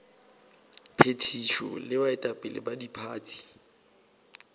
phethišo le baetapele ba diphathi